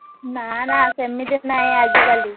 ନା ନା ସେମିତି ନାହିଁ ଆଜିକାଲି,